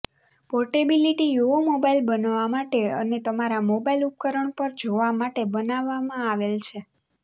portability યૂઓ mobile બનવા માટે અને તમારા મોબાઇલ ઉપકરણ પર જોવા માટે બનાવવામાં આવેલ છે